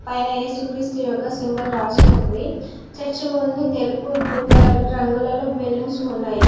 పైన ఏసుక్రీస్తు యొక్క సింబల్ రాసి ఉంది చర్చ్ ముందు తెలుపు బ్లూ కలర్ రంగులలో బెలూన్సు ఉన్నాయి.